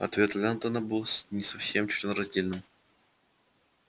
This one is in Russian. ответ лентона был не совсем членораздельным